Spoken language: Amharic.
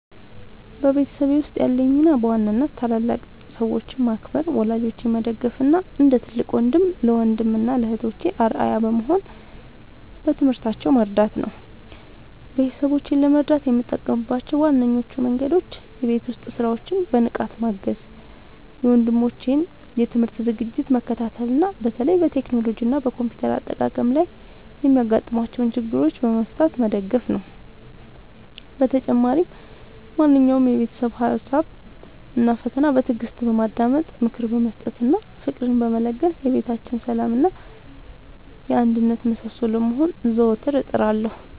በቤተሰቤ ውስጥ ያለኝ ሚና በዋናነት ታላላቅ ሰዎችን ማክበር፣ ወላጆቼን መደገፍ እና እንደ ትልቅ ወንድም ለወንድም እና እህቶቼ አርአያ በመሆን በትምህርታቸው መርዳት ነው። ቤተሰቦቼን ለመርዳት የምጠቀምባቸው ዋነኞቹ መንገዶች የቤት ውስጥ ሥራዎችን በንቃት ማገዝ፣ የወንድሞቼን የትምህርት ዝግጅት መከታተል እና በተለይም በቴክኖሎጂ እና በኮምፒውተር አጠቃቀም ላይ የሚያጋጥሟቸውን ችግሮች በመፍታት መደገፍ ነው። በተጨማሪም ማንኛውንም የቤተሰብ ሀሳብ እና ፈተና በትዕግስት በማዳመጥ፣ ምክር በመስጠት እና ፍቅርን በመለገስ የቤታችን የሰላም እና የአንድነት ምሰሶ ለመሆን ዘወትር እጥራለሁ።